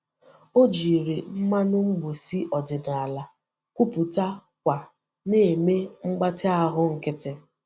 Ọ jiri mmanụ mgbòsi ọdịnala kwụpụta kwa na-eme mgbatị ahụ nkịtị.